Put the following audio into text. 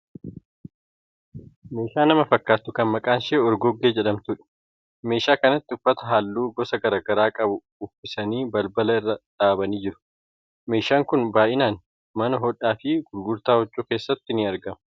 Meeshaa nama fakkaattu kan maqaan ishee Orgoggee jedhamtuudha. Meeshaa kanatti uffata halluu gosa garaa garaa qabu uffisanii balbala bira dhaabanii jiru. Meeshaan kun baayinaan mana hodhaa fi gurgurtaa huccuu keessatti argama.